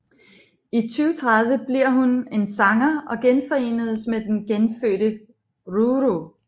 I 2030 bliver hun en sanger og genforenes med den genfødte Ruru